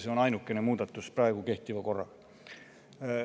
See on ainukene muudatus võrreldes kehtiva korraga.